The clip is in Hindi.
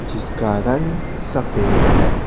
जिसका रंग सफेद है।